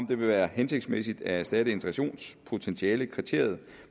vil være hensigtsmæssigt at erstatte integrationspotentialekriteriet